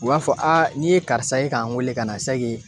U b'a fɔ nin ye karisa ye ka n wele ka na